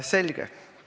Selge.